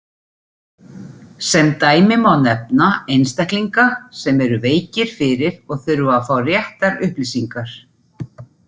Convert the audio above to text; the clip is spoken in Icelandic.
Sem dæmi má nefna einstaklinga sem eru veikir fyrir og þurfa að fá réttar upplýsingar.